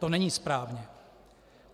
To není správně.